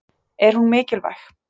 Er hún mikilvæg?